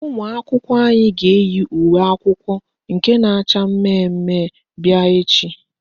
Ụmụakwụkwọ anyị ga-eyi uwe akwụkwọ nke na-acha mmemme bịa echi